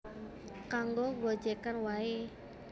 Kanggo gojegan wae